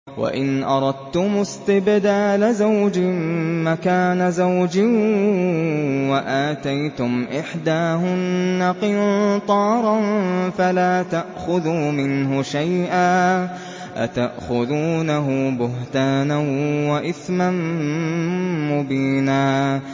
وَإِنْ أَرَدتُّمُ اسْتِبْدَالَ زَوْجٍ مَّكَانَ زَوْجٍ وَآتَيْتُمْ إِحْدَاهُنَّ قِنطَارًا فَلَا تَأْخُذُوا مِنْهُ شَيْئًا ۚ أَتَأْخُذُونَهُ بُهْتَانًا وَإِثْمًا مُّبِينًا